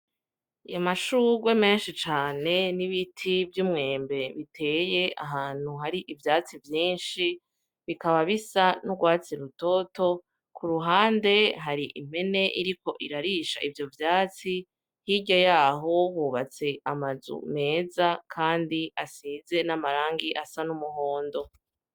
Amashurwe menshi cane n'ibiti vy'umwembe biteye ahantu hari ivyatsi vyinshi bikaba bisa n'urwatsi rutoto, ku ruhande hari impene iriko irarisha ivyo vyatsi hirya yaho hubatse amazu meza kandi asize n'amarangi asa n'umuhondo.